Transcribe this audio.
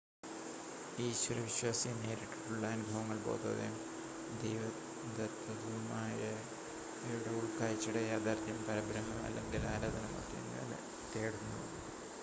ഈശ്വര വിശ്വാസി നേരിട്ടുള്ള അനുഭവങ്ങൾ ബോധോദയം ദൈവദത്തമായവയുടെ ഉൾക്കാഴ്ചയുടെ യാഥാർത്ഥ്യം പരബ്രഹ്മം അല്ലെങ്കിൽ ആരാധനാമൂർത്തി എന്നിവ തേടുന്നു